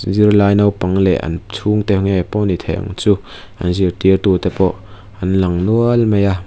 zirlai naupang leh an chhungte nge pawh ani thei ang chu an zirtirtute pawh an lang nual mai a.